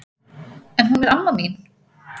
En hún er amma mín!